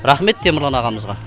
рахмет темірлан ағамызға